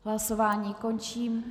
Hlasování končím.